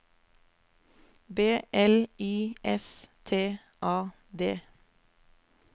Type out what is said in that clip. B L Y S T A D